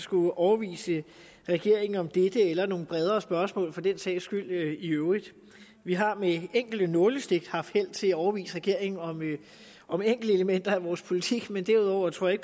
skulle overbevise regeringen om dette eller nogle bredere spørgsmål for den sags skyld i øvrigt vi har med enkelte nålestik haft held til at overbevise regeringen om enkelte elementer i vores politik men derudover tror jeg